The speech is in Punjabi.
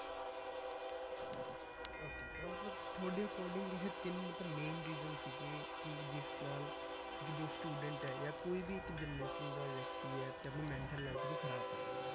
Okay ਤਾਂ ਮਤਲਬ ਤੁਹਾਡੇ according ਇਹ ਤਿੰਨ ਮਤਲਬ main reason ਸੀਗੇ ਕਿ ਜਿਸ ਨਾਲ ਕਿ ਜੋ student ਹੈ ਜਾਂ ਕੋਈ ਵੀ ਇੱਕ generation ਦਾ ਵਿਅਕਤੀ ਹੈ ਤੇ ਆਪਣੀ mental health ਨੂੰ ਖ਼ਰਾਬ ਕਰ ਲੈਂਦੇ ਆ,